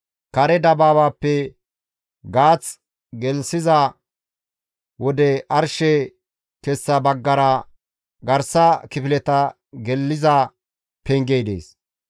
Kare dabaabaappe gaath geliza wode arshe kessa baggara garsa kifileta geliza pengey dees.